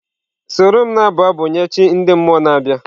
Soro m na-abụ abụ nye chi ndị mmụọ na-abịa!.